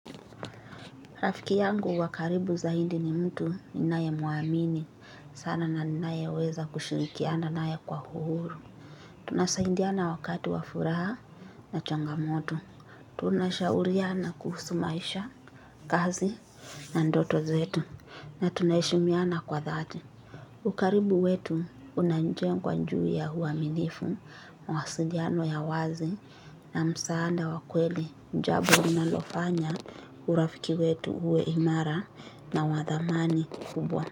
Rafiki yangu wa karibu zaidi ni mtu ninayemuamini. Sana na ninayeweza kushirikiana naye kwa huru. Tunasaidiana wakati wa furaha na changamoto. Tunashauriana kuhusu maisha, kazi na ndoto zetu. Na tunaheshimiana kwa dhati. Ukaribu wetu unajengwa juu ya uaminifu. Mawasiliano ya wazi na msaada wa kweli. Jambo linalofanya urafiki wetu uwe imara na wa thamani kubwa.